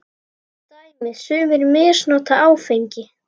Dæmi: Sumir misnota áfengi.